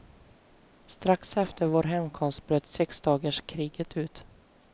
Strax efter vår hemkomst bröt sexdagarskriget ut.